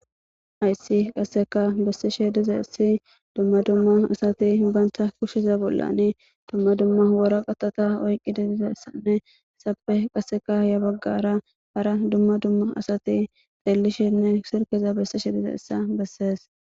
Hays qaseka besishe dizays dumma dumma asat banta kusheza bolla dumma dumma waraqatata oykid dizaysanne izappe qaseka ya bagara dumma dumma asat xelishene silkeza besishe dizaysa beses.